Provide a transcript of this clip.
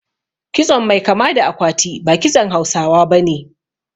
Kitson mai kama da akwati ba kitson Hausawa bane